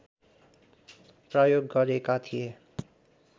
प्रयोग गरेका थिए